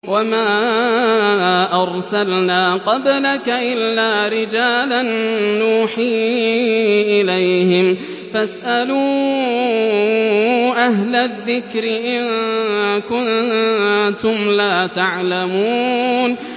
وَمَا أَرْسَلْنَا قَبْلَكَ إِلَّا رِجَالًا نُّوحِي إِلَيْهِمْ ۖ فَاسْأَلُوا أَهْلَ الذِّكْرِ إِن كُنتُمْ لَا تَعْلَمُونَ